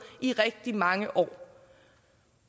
i rigtig mange år